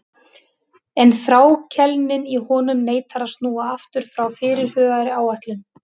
En þrákelknin í honum neitar að snúa aftur frá fyrirhugaðri áætlun.